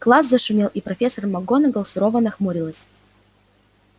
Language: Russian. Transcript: класс зашумел и профессор макгонагалл сурово нахмурилась